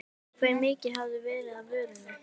Hve mikið hafi verið af vörunni?